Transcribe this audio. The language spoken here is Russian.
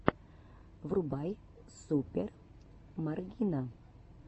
врубай супер маргина